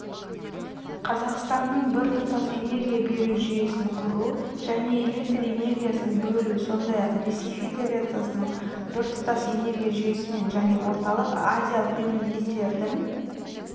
қазқастанның біртұтас энергия беру жүйесін құру және электр энергиясын бөлу сондай-ақ ресей федерациясының біртұтас энергия жүйесімен және орталық-азиялық мемлекеттердің